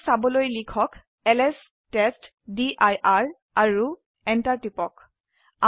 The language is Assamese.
এইবোৰক চাবলৈ লিখক এলএছ টেষ্টডিৰ আৰু Enter টিপক